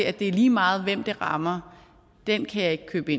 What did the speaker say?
at det er lige meget hvem det rammer kan jeg ikke købe